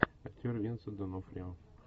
актер винсент донофрио